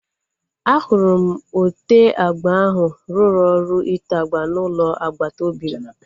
Ahụrụ m ote agba ahu ruru ọrụ ite agba na ụlọ agbata obi m